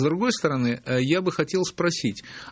с другой стороны я бы хотел спросить